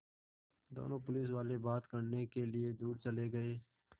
दोनों पुलिसवाले बात करने के लिए दूर चले गए